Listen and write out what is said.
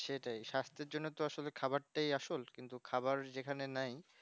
সেটাই সাস্থের জন্য তো আসলে খাবারটাই আসল কিন্তু খাবার যেখানে নাই